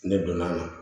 Ne donn'a na